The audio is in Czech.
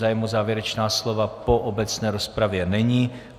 Zájem o závěrečná slova po obecné rozpravě není.